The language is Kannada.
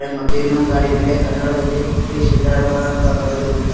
ಮತ್ತೆ ಇನ್ನೊಂದು ಗಾಡಿ ಮೇಲೆ ಕನ್ನಡದಲ್ಲಿ ಶ್ರೀ ಸಿದ್ದಾರೂಢ ಅಂತ ಬರೆದಿರುತ್ತಾರೆ.